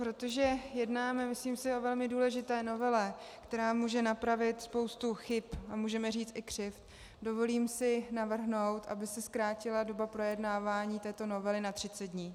Protože jednáme, myslím si, o velmi důležité novele, která může napravit spoustu chyb a můžeme říct i křivd, dovolím si navrhnout, aby se zkrátila doba projednávání této novely na 30 dní.